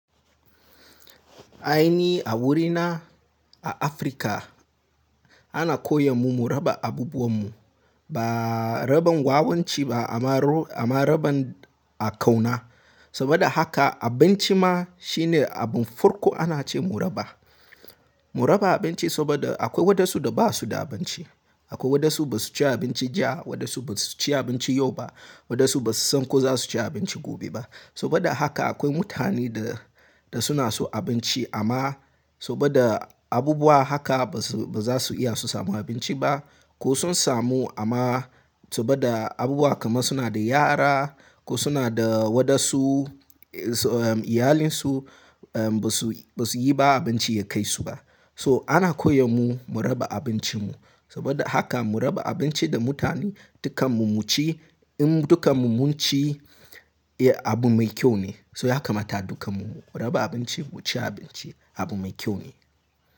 Aini a wurina a Afrika ana koyon mu mu raba abubuwan mu. Ba raban wawanci ba amma, amma raban a kauna. Saboda haka abinci ma shine abin farko ana ce mu raba. Mu raba abinci saboda akwai wadansu da ba su da abinci. Akwai wadansu ba su ci abinci jiya, wadansu ba su ci abinci yau ba, wadansu ba su san ko za su ci abinci gobe ba. Saboda haka akwai mutane da, da suna so abinci amma saboda abubuwa haka ba su, ba za su iya su samu abinci ba. Ko sun samu amma saboda abubuwa kamar suna da yara ko suna da wadansu iyalinsu ba su, ba su yi ba abinci ya kai su ba. So ana koyar mu, mu raba abincin mu. Saboda haka mu raba abinci da mutane dukkan mu mu ci, in dukkan mu mun ci, ya abu mai kyau ne. So haka mata dukkan mu mu raba abinci, mu ci abinci abu mai kyau ne.